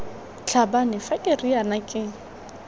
tlhabane fa ke riana ke